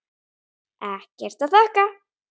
Ekkert að þakka